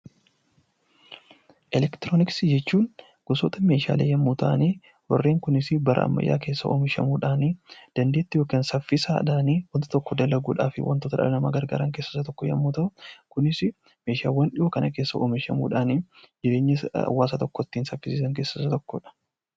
Elektirooniksii jechuun gosoota meeshaalee yommuu ta'an, warreen kunis bara ammayyaa keessa oomishamuudhani dandeettii yookaan saffisaadhaani waan tokko dalaguudhaafi waantota dhala namaa gargaaran keessaa tokko yommuu ta'u, kunis meeshaawwan dhiyoo kana keessa oomishamuudhaan jireenya hawaasa tokkoo ittiin saffisiisan keessaa isa tokkodha.